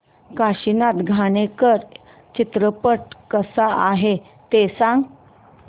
काशीनाथ घाणेकर चित्रपट कसा आहे ते सांग